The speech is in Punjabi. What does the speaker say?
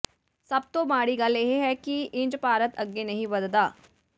ਸਭ ਤੋਂ ਮਾੜੀ ਗੱਲ ਇਹ ਹੈ ਕਿ ਇੰਜ ਭਾਰਤ ਅੱਗੇ ਨਹੀਂ ਵਧਦਾ